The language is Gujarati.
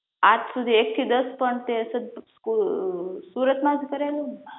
આજ સુધી એક થી દસ પણ તે સુરત માં ભણેલું ને?